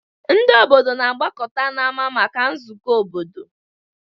Ndị obodo na-agbakọta n'ámá maka nzukọ obodo.